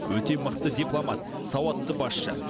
өте мықты дипломат сауатты басшы